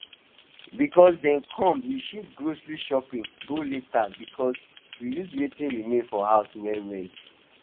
because dem come we shift grocery shopping go later but we use wetin remain for house well well